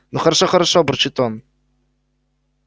ну хорошо хорошо бурчит он